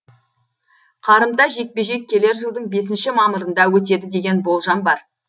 қарымта жекпе жек келер жылдың бесінші мамырында өтеді деген болжам бар